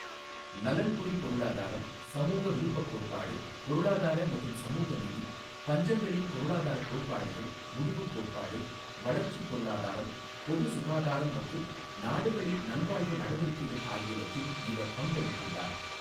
நலன்புரி பொருளாதாரம், சமூக விருப்பக் கோட்பாடு, பொருளாதார மற்றும் சமூக நீதி, பஞ்சங்களின் பொருளாதார கோட்பாடுகள், முடிவு கோட்பாடு, வளர்ச்சிப் பொருளாதாரம், பொது சுகாதாரம் மற்றும் நாடுகளின் நல்வாழ்வு நடவடிக்கைகள் ஆகியவற்றில் இவர் பங்களித்துள்ளார்.